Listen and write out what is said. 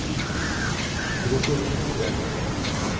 Robert Fjeld